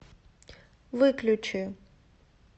выключи